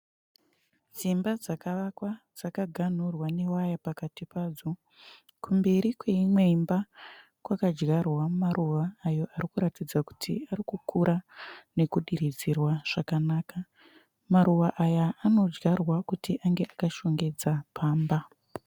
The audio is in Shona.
Dzimba dzakavakwa dzaka ganhurwa ne waya pakati padzo. Kumberi kweimwe imba kwaka dyarwa maruva ayo arikuratidza kuti arikukura nekudiridzirwa zvakanaka. Maruva aya , anodyarwa kuti ange akashongedza pamba.